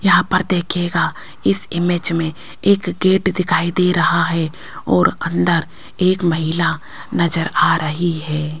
यहां पर देखिएगा इस इमेज में एक गेट दिखाई दे रहा है और अंदर एक महिला नजर आ रही है।